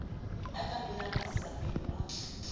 ya ka mamellang masisapelo a